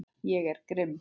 Ég er grimm.